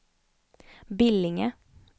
Billinge